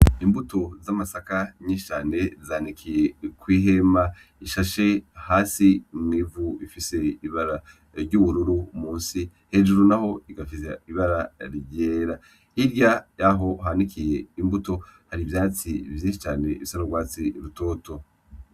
Imbuto z'amasaka nyinshi cane zanikiye kw'ihema rishashe hasi mw'ivu. Rifise ibara ry'ubururu musi, hejuru naho rigafita ibara ryera. Hirya yaho hanikiye imbuto hari ivyatsi vyinshi cane bisa n'ugwatsi rutoto.